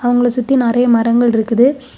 அவங்கள சுத்தி நிறைய மரங்கள் இருக்குது.